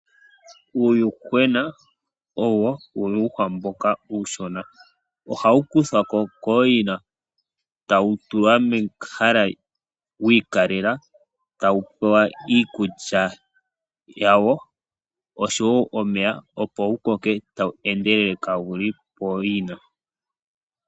Uuyuhwena owo uuyuhwa mboka uushona. Oha wu kuthwa ko kooyina, ta wu tulwa mehala wi ikalela, ta wu pewa iikulya yawo, osho wo omeya opo wu koke ta wu endelele kaa wu li pooyina.